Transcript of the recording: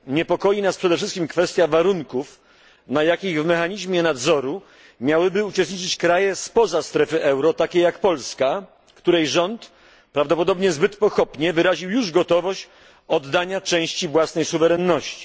Niepokoi nas przede wszystkim kwestia warunków, na jakich w mechanizmie nadzoru miałyby uczestniczyć kraje spoza strefy euro, takie jak Polska, w której rząd prawdopodobnie zbyt pochopnie wyraził już gotowość oddania części własnej suwerenności.